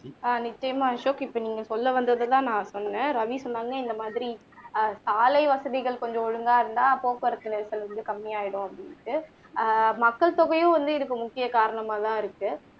ஆஹ் நிச்சயமா அசோக் இப்போ நீங்க சொல்ல வந்தது எல்லாம் நான் சொன்னேன் ரவி சொன்னாங்க இந்த மாதிரி ஆஹ் சாலை வசதிகள் கொஞ்சம் ஒழுங்கா இருந்தா போக்குவரத்து நெரிசல் வந்து கம்மியாகிடும் அப்படின்னுட்டு ஆஹ் மக்கள் தொகையும் இதுக்கு முக்கிய காரணமா தான் இருக்கு